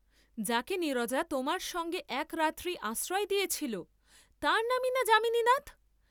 যাকে নীরজা তোমার সঙ্গে একরাত্রি আশ্রয় দিয়েছিল, তার নামই না যামিনীনাথ?